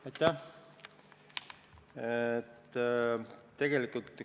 Aitäh!